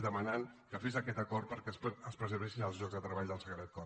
que demanaven que fes aquest acord perquè es preservessin els llocs de treball del sagrat cor